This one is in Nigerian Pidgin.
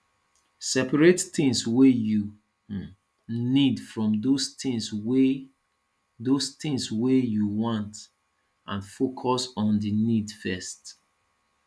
separate things wey you um need from those things wey those things wey you want and focus on di needs first